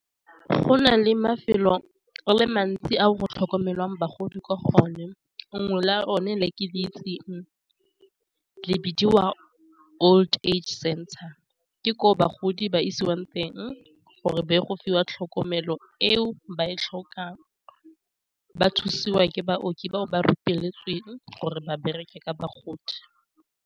Go nale mafelo a le mantsi a go tlhokomelang bagodi kwa go one nngwe la one le ke le itseng lebediwa Old Age Center ke ko bagodi ba isiwang teng, gore ba ye go fiwa tlhokomelo eo ba e tlhokang, ba thusiwa ke baoki bao ba rupeletsweng gore ba bereke ka bagodi.